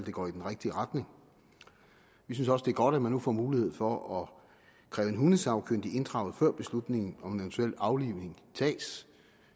det går i den rigtige retning vi synes også det er godt at man nu får mulighed for at kræve en hundesagkyndig inddraget før beslutningen om en eventuel aflivning tages